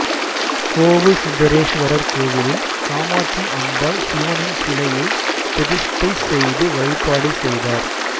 கோவூர்சுந்தரேஸ்வரர் கோவிலில் காமாட்சி அம்பாள் சிவனின் சிலையை பிரதிஷ்டை செய்து வழிபாடு செய்தார்